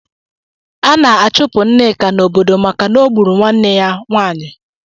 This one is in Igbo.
A na-achụpụ Nneka n'obodo maka na o gburu nwanne ya nwanyị.